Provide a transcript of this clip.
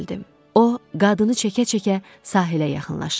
O, qadını çəkə-çəkə sahilə yaxınlaşırdı.